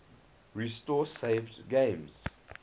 restore saved games